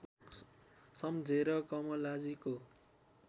सम्झेर कमलाजीको